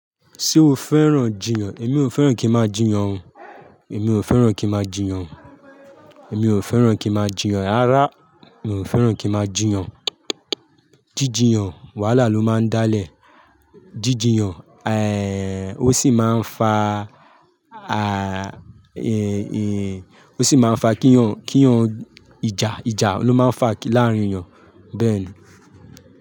Ṣé o fẹ́ràn jiyàn? Èmi ò fẹ́ràn kí ń máa jiyàn ó Èmi ò fẹ́ràn kí ń máa jiyàn. Èmi ò fẹ́ràn kí ń máa jiyàn. Rárá, mi ò fẹ́ràn kí ń máa jiyàn. Jíjiyàn wàhálà ló máa ń dálẹ̀. Jíjiyàn, ó sì máa ń fa, ó sì máa ń fa kí ń yan, kí ń yan ìjà. Ìjà ló máa ń fà láàárín èèyàn bẹ́ẹ̀ ni.